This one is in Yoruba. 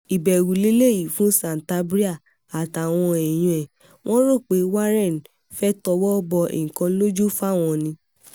ìbẹ̀rù leléyìí fún santabria àtàwọn èèyàn ẹ̀ wọ́n rò pé warren fẹ́ẹ́ tọwọ́ bọ nǹkan lójú fáwọn ni